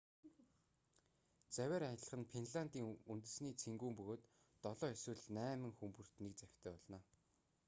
завиар аялах нь финлиандын үнэсний цэнгүүн бөгөөд долоо эсвэл найма хүн бүрт нэг завьтай болно